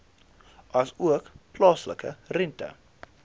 asook plaaslike rente